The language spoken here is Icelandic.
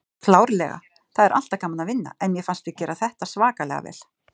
Klárlega, það er alltaf gaman að vinna en mér fannst við gera þetta svakalega vel.